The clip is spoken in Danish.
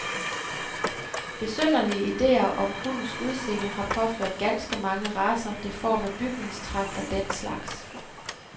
Besynderlige idéer om hundes udseende har påført ganske mange racer deforme bygningstræk af den slags.